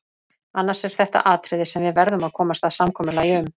Annars er þetta atriði sem við verðum að komast að samkomulagi um.